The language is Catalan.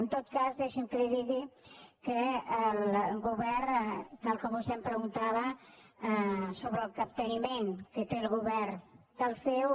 en tot cas deixi’m que li digui que el govern tal com vostè em preguntava sobre el capteniment que té el govern amb el ceo